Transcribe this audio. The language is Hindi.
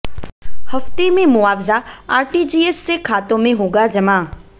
हफ्ते में मुआवजा आरटीजीएस से खातों में होगा जमा